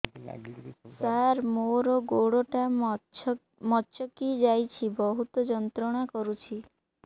ସାର ମୋର ଗୋଡ ଟା ମଛକି ଯାଇଛି ବହୁତ ଯନ୍ତ୍ରଣା କରୁଛି